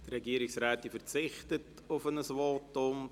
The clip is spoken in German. Die Regierungsrätin verzichtet auf ein Votum.